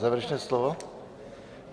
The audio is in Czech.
Závěrečné slovo?